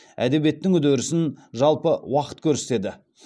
әдебиеттің үдерісін жалпы уақыт көрсетеді